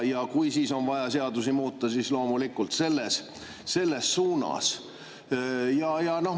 Kui on vaja seadusi muuta, siis loomulikult selles suunas.